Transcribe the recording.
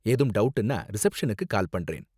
ஏதும் டவுட்னா, ரிசப்ஷனுக்கு கால் பண்றேன்.